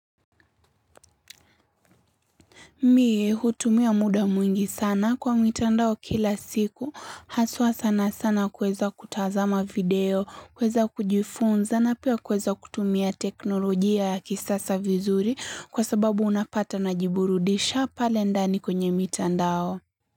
Mie hutumia muda mwingi sana kwa mitandao kila siku, haswa sana sana kuweza kutazama video, kuweza kujifunza na pia kuweza kutumia teknolojia ya kisasa vizuri kwa sababu unapata najiburudisha pale ndani kwenye mitandao.